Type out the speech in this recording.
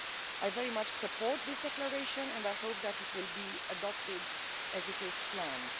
I very much support this declaration and I hope that it will be adopted as it is planned.